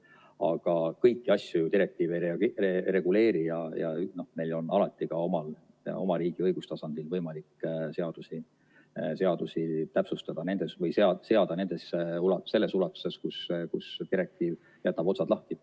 Aga kõiki asju direktiiv ju ei reguleeri ja meil on alati ka oma riigi õigustasandil võimalik seadusi täpsustada selles ulatuses, kus direktiiv jätab otsad lahti.